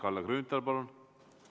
Kalle Grünthal, palun!